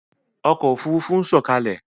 Ọkọ̀ Òfurufú ń sọ̀kalẹ̀!